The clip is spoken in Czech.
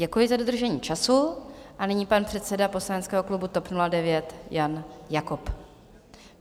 Děkuji za dodržení času a nyní pan předseda poslaneckého klubu TOP 09 Jan Jakob.